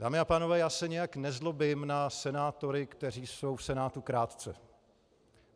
Dámy a pánové, já se nijak nezlobím na senátory, kteří jsou v Senátu krátce.